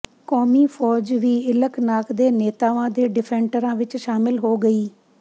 ਕੌਮੀ ਫ਼ੌਜ ਵੀ ਇਨਕਲਾਬ ਦੇ ਨੇਤਾਵਾਂ ਦੇ ਡਿਫੈਂਟਰਾਂ ਵਿਚ ਸ਼ਾਮਲ ਹੋ ਗਈ